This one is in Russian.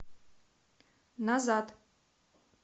назад